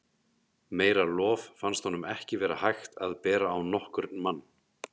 Meira lof fannst honum ekki vera hægt að bera á nokkurn mann.